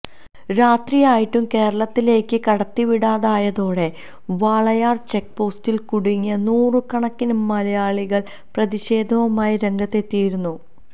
രാത്രി ആയിട്ടും കേരളത്തിലേക്ക് കടത്തിവിടാതായതോടെ വാളയാര് ചെക്പോസ്റ്റില് കുടുങ്ങിയ നൂറുകണക്കിന് മലയാളികള് പ്രതിഷേധവുമായി രംഗത്ത് എത്തിയിരുന്നു